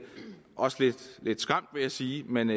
og også lidt skræmt vil jeg sige men